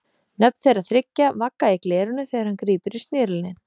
Nöfn þeirra þriggja vagga í glerinu þegar hann grípur í snerilinn.